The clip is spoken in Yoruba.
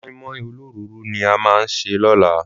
Mọ́ínmọ́ín olóròóró ni a máa sè lọ́la